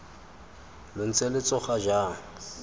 lo ntse lo tsoga jang